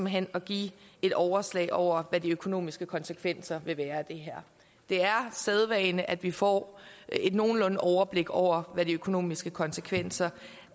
hen at give et overslag over hvad de økonomiske konsekvenser vil være det er sædvane at vi får et nogenlunde overblik over hvad de økonomiske konsekvenser